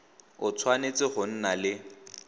o tshwanetse go nna le